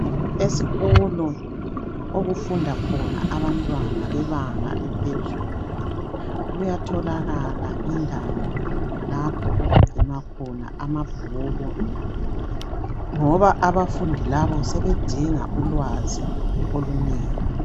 Esikolo okufunda khona abantwana bebanga eliphezulu kuyatholakala indawo lapho okugcinwa khona amabhuku ngoba abafundi labo sebedinga ulwazi olunengi.